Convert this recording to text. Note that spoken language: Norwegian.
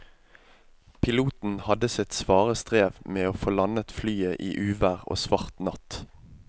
Piloten hadde sitt svare strev med å få landet flyet i uvær og svart natt.